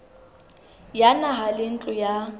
ya naha le ntlo ya